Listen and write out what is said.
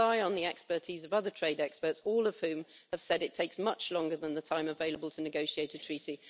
I rely on the expertise of other trade experts, all of whom have said it takes much longer than the time available to negotiate a treaty.